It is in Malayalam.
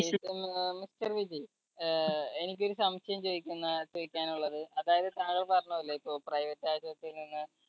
mister വിജയ് ഏർ എനിക്കൊരു സംശയം ചോയ്ക്കുന്ന ചോയ്ക്കാനുള്ളത് അതായത് താങ്കൾ പറഞ്ഞപോലെ ഇപ്പൊ private ആശുപത്രിയിൽ നിന്ന്